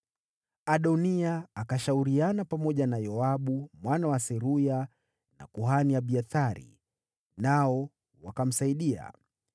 Adoniya akashauriana pamoja na Yoabu mwana wa Seruya na kuhani Abiathari, nao wakamsaidia.